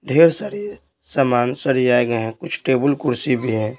ढेर सारी सामान सड़ी आए गए हैं कुछ टेबल कुर्सी भी है।